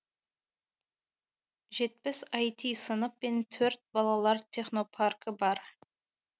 жетпіс айти сынып пен төрт балалар технопаркі бар